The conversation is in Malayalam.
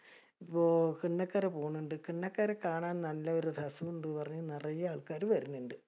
കണ്ണകര പോണിൻഡ്‌. കണ്ണക്കര കാണാൻ നല്ലൊരു രസോം ഇണ്ട്. പറഞ്ഞ നറയെ ആൾക്കാര് വര്ണിണ്ട്.